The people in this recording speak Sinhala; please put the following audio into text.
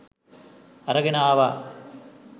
අරගෙන ආවා